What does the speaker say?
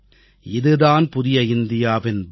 இதுதான் புதிய இந்தியாவின் பலம்